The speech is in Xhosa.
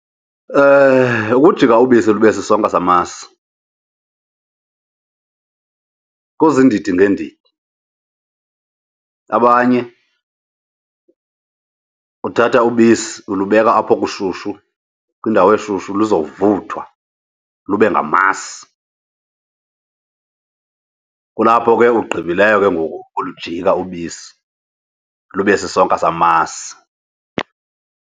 Ukujika ubisi lube sisonka samasi kuziindidi ngeendidi. Abanye uthatha ubisi ulubeka apho kushushu, kwiindawo eshushu, lizawuvuthwa lube ngamasi. Kulapho ke ugqibileyo ke ngoku ulujika ubisi lube sisonka samasi.